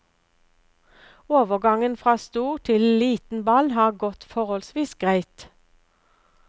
Overgangen fra stor til liten ball har gått forholdsvis greit.